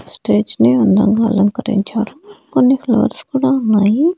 Stage ని అందంగా అలంకరించారు కొన్ని ఫ్లవర్స్ కూడా ఉన్నాయి.